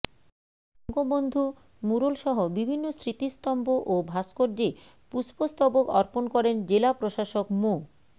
বঙ্গবন্ধু ম্যুরালসহ বিভিন্ন স্মৃতিস্তম্ভ ও ভাস্কর্যে পুস্পস্তবক অপর্ণ করেন জেলা প্রশাসক মো